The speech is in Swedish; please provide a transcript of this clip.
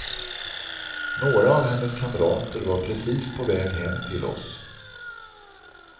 Några av hennes kamrater var precis på väg hem till oss.